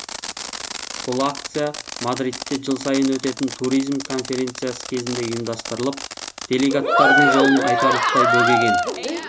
бұл акция мадридте жыл сайын өтетін туризм конференциясы кезінде ұйымдастырылып делегаттардың жолын айтарлықтай бөгеген